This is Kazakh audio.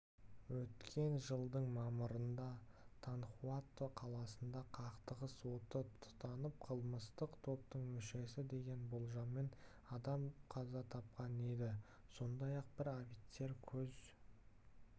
өткен жылдың мамырында танхуато қаласында қақтығыс оты тұтанып қылмыстық топтың мүшесі деген болжаммен адам қаза тапқан еді сондай-ақ бір офицер көз